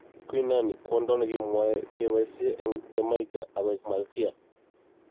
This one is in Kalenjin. Queen Nanny: Kwondo nekimwei kebaisiei eng' Jjamaica akoek Malkia.